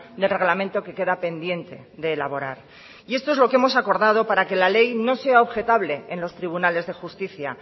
del reglamento que queda pendiente de elaborar y esto es lo que hemos acordado para que la ley no sea objetable en los tribunales de justicia